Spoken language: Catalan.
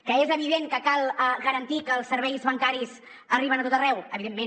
que és evident que cal garantir que els serveis bancaris arriben a tot arreu evi·dentment